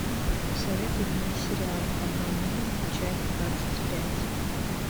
посоветуй мне сериал обмани меня часть двадцать пять